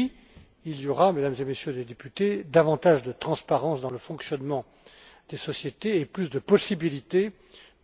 Oui, il y aura, Mesdames et Messieurs les députés, davantage de transparence dans le fonctionnement des sociétés et plus de possibilités